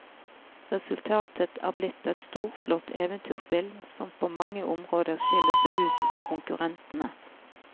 Resultatet er blitt et storslått eventyrspill som på mange områder skiller seg ut fra konkurrentene.